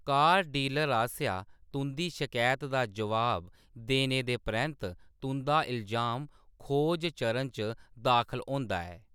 कार dealer आसेआ तुंʼदी शकैत दा जवाब देने दे परैंत्त, तुंʼदा इल्जाम खोज चरण च दाखल होंदा ऐ।